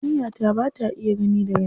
Yarinya ta ba ta iya gani daga nesa.